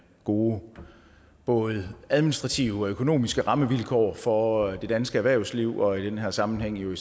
gode både administrative og økonomiske rammevilkår for det danske erhvervsliv og i den her sammenhæng jo